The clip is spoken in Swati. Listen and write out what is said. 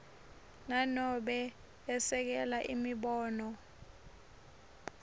nanobe esekela imibono